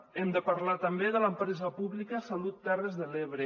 hem de parlar també de l’empresa pública salut terres de l’ebre